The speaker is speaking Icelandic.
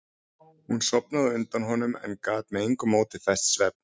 Hún sofnaði á undan honum en hann gat með engu móti fest svefn.